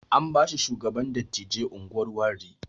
An bashi shugaban dattijai unguwar Warri